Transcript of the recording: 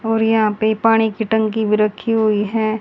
और यहां पे पानी की टंकी भी रखी हुई हैं।